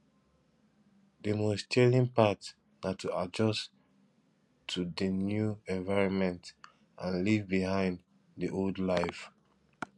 di most challing part na to adjust to di new environment and leave behind di old life